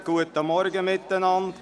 Guten Morgen miteinander.